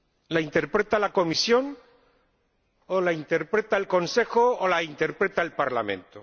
¿La interpreta la Comisión, o la interpreta el Consejo, o la interpreta el Parlamento?